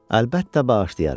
Əlbəttə bağışlayaram.